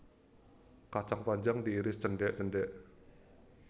Kacang panjang diiris cendhek cendhek